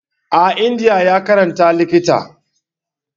A India ya yi karatun likita.